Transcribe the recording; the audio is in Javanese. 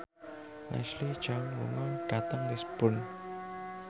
Leslie Cheung lunga dhateng Lisburn